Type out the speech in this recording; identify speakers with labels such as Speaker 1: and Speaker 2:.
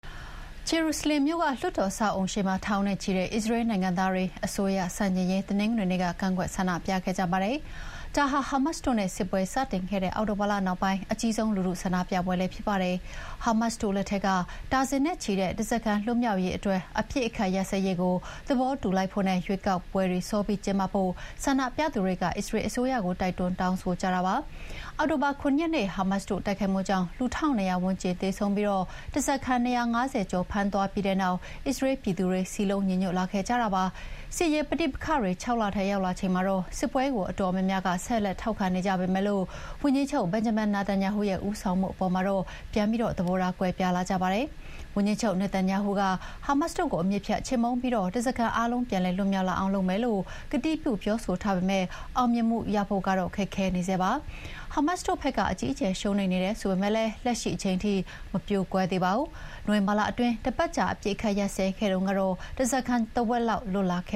Speaker 1: ဂျေရုဆလင်မ်မြို့က လွှတ်တော်အဆောက်အအုံရှေ့မှာ ထောင်နဲ့ချီတဲ့ အစ္စရေးလ်နိုင်ငံသားတွေ အစိုးရဆန့်ကျင်ရေး တနင်္ဂနွေနေ့က ကန့်ကွက်န္ဒပြခဲ့ကြပါတယ်။ ဒါဟာ ဟာမတ်စ်တို့နဲ့ စစ်ပွဲစတင်ခဲ့တဲ့အောက်တိုဘာလနောက်ပိုင်း အကြီးဆုံးလူထုဆန္ဒပြပွဲလည်းဖြစ်ပါတယ်။ ဟာမတ်စ်တို့လက်ထဲက ဒါဇင်နဲ့ချီတဲ့ဓားစာခံလွတ်မြောက်ရေးအတွက် အပစ်အခတ်ရပ်စဲရေးကို သဘောတူလိုက်ဖို့နဲ့ ရွေးကောက်ပွဲတွေစောပြီးကျင်းပဖို့ ဆန္ဒပြသူတွေက အစ္စရေးလ်အစိုးရကို တိုက်တွန်းတောင်းဆိုကြတာပါ။ အောက်တိုဘာ ၇ ရက်နေ့ ဟာမတ်စ်တို့တိုက်ခိုက်မှုကြောင့်လူ ၁,၂၀၀ ဝန်းကျင်သေဆုံးပြီး ဓားစာခံ ၂၅၀ ကျော်ဖမ်းသွားပြီးတဲ့နောက် အစ္စရေးလ်ပြည်သူတွေ စည်းလုံးညီညွတ်လာခဲ့ကြတာပါ။ စစ်ရေးပဋိပက္ခတွေ ၆ လထဲရောက်လာချိန်မှာတော့ စစ်ပွဲကို အတော်များများဆက်လက်ထောက်ခံနေကြပေမယ့် ဝန်ကြီးချုပ် Benjamin Netanyahu ရဲ့ ဦးဆောင်မှုအပေါ်မှာတော့ ပြန်ပြီးသဘောထားကွဲပြားလာကြပါတယ်။ ဝန်ကြီးချုပ် နေတန်ယာဟုက ဟာမတ်စ်တို့ကို အမြစ်ဖြတ်ချေမှုန်းပြီး ဓားစာခံအားလုံး ပြန်လည်လွတ်မြောက်လာအောင်လုပ်မယ်လို့ ကတိပြုပြောဆိုထားပေမယ့် အောင်မြင်မှုရဖို့ကတော့ ခက်ခဲနေဆဲပါ။ ဟာမတ်စ်တို့ဘက်က အကြီးအကျယ်ရှုံးနိမ့်နေတယ်ဆိုပေမယ့် လက်ရှိချိန်ထိ မပြိုကွဲသေးပါဘူး။ နိုဝင်ဘာလတွင်း တပတ်ကြာ အပစ်အခတ်ရပ်စဲခဲ့တုန်းက ဓားစားခံတဝက်လောက်လွှတ်လာခ